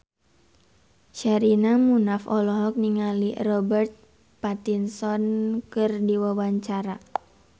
Sherina Munaf olohok ningali Robert Pattinson keur diwawancara